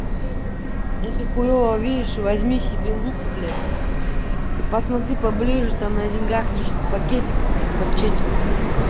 если хуёво видишь возьми себе лупу блядь и посмотри поближе там на деньгах лежит пакетик из под четила